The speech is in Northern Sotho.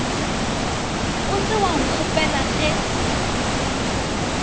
o se wa nkgopela ge